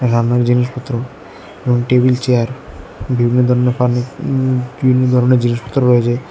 এখানে জিনিসপত্র এবং টেবিল চেয়ার বিভিন্ন ধরনের ফার্নি উম বিভিন্ন ধরনের জিনিসপত্র রয়েছে।